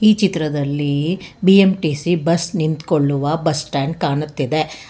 ಈ ಚಿತ್ರದಲ್ಲಿ B M T C bus ನಿಂತುಕೊಳ್ಳುವ ಬಸ್ ಸ್ಟ್ಯಾಂಡ್ ಕಾಣುತ್ತಿದೆ.